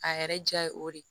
A yɛrɛ diya ye o de ye